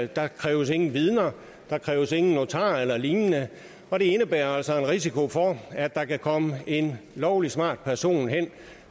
der kræves ingen vidner der kræves ingen notar eller lignende og det indebærer altså risiko for at der kan komme en lovlig smart person